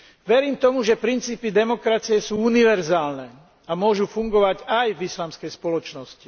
Verím tomu, že princípy demokracie sú univerzálne a môžu fungovať aj v islamskej spoločnosti.